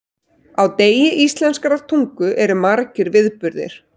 Á degi íslenskrar tungu eru margir viðburðir.